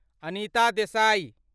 Anita Desai